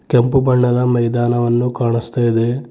ಕೆಂಪು ಬಣ್ಣದ ಮೈದಾನವನ್ನು ಕಾಣಸ್ತಾ ಇದೆ.